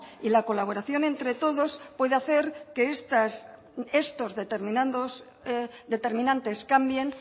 y la colaboración entre todos puede hacer que estos determinantes cambien